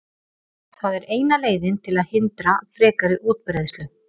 það er eina leiðin til að hindra frekari útbreiðslu